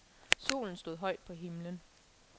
Solen stod højt på himlen.